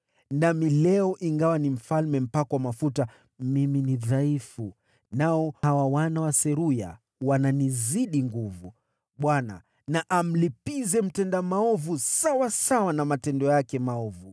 Nami leo ingawa ni mfalme mpakwa mafuta, mimi ni dhaifu, nao hawa wana wa Seruya wananizidi nguvu. Bwana na amlipize mtenda maovu sawasawa na matendo yake maovu!”